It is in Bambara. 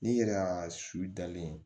N'i yɛrɛ ya su dalen